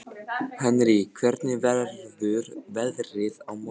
Henrý, hvernig verður veðrið á morgun?